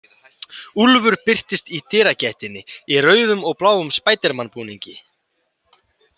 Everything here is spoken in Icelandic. Úlfur birtist í dyragættinni í rauðum og bláum spædermanbúningi.